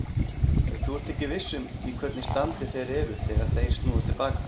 Þú ert ekki viss um í hvernig standi þeir eru þegar þeir snúa til baka.